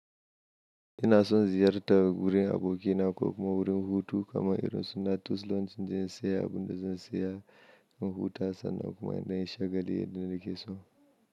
Ina son ziyartar wurin abokina ko kuma wurin hutu kamar irin su natur lounge inda zan saya abun da zan saya don huta sannan kuma ina shagali da nake so.